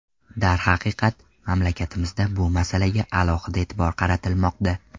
Darhaqiqat, mamlakatimizda bu masalaga alohida e’tibor qaratilmoqda.